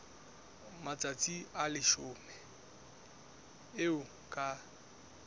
matsatsi a leshome eo ka